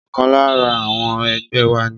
Ọkàn lára àwọn ẹgbẹ́ wa ni